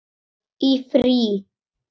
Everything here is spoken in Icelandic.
Í frí.